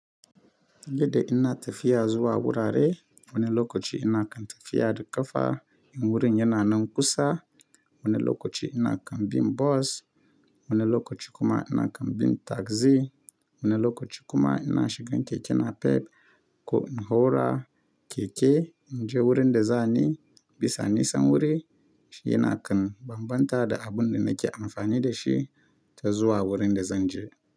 Yadda ina tafiya zuwa wurare, wani lokaci ina kan tafiya da ƙafa, wurin yana nan kusa, wani lokaci ina kan bi bus, wani lokaci kuma ina kan bi taxi, wani lokaci kuma ina shigan keke napep ko in haura keke in je wurin da zani. Bisa nisan wuri, shi yana kan bambanta da abun da nake amfani da shi ta zuwa wurin da zan je.